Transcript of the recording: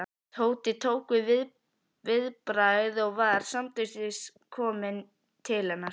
Tóti tók viðbragð og var samstundis kominn til hennar.